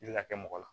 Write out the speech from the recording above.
I bɛ ka kɛ mɔgɔ la